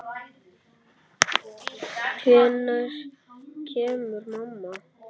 Hvenær kemur mamma?